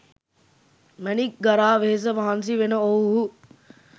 මැණික් ගරා වෙහෙස මහන්සි වෙන ඔවුහු